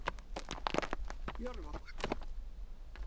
Jörfabakka